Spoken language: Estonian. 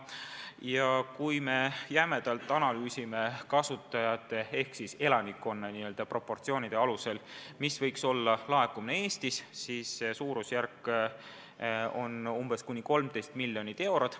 Ja kui me jämedalt analüüsime kasutajaskonna ehk siis elanikkonna suuruse proportsioonide alusel, kui suur võiks olla laekumine Eestis, siis see suurusjärk on kuni 13 miljonit eurot.